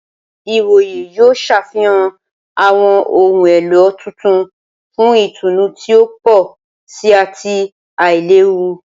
Ìwòyè yóò ṣàfikún awọn ohùn èló tuntun fún ìtùnú ti o pọ sí ati ailewu.